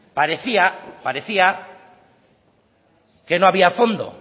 parecía que no había fondo